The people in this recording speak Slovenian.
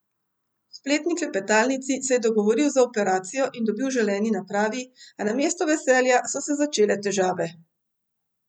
V spletni klepetalnici se je dogovoril za operacijo in dobil želeni napravi, a namesto veselja so se začele težave.